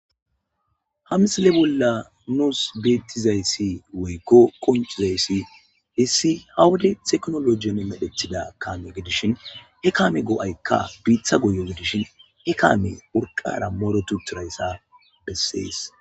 ha msile bolla nus beettizayssi woykko qonchizayssi issi ha wode teknologiyon medhethida kaame gedishin he kaamekka goo'aykka biita goyo gidishin he kaame qorqara morotuturayssa bessees